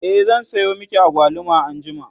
e zan Sayo maki agwaluma anjima